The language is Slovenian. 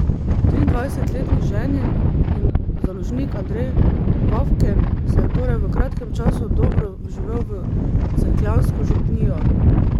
Triindvajsetletni ženin in založnik Andrej Vavken se je torej v kratkem času dobro vživel v cerkljansko župnijo.